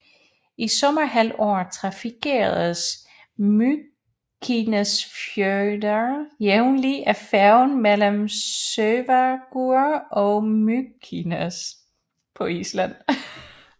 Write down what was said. I sommerhalvåret trafikeres Mykinesfjørður jævnlig af færgen mellem Sørvágur og Mykines